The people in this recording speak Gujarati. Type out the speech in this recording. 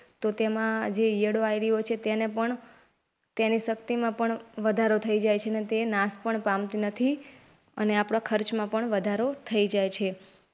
તો તેમાં જે ઈયળો આવ્વી હોય છે તેને પણ તેની શક્તિમાં પણ વધારો થઇ જાય છે. તે નાશ પામ નથી અને ખર્ચમાં પણ વધારો થઇ જાય.